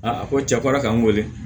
Aa a ko cɛ kora k'an wele